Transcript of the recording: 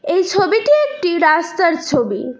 এই ছবিটি একটি রাস্তার ছবি।